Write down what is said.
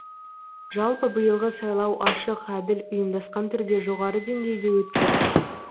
жалпы биылғы сайлау ашық әділ ұйымдасқан түрде жоғары деңгейде өтті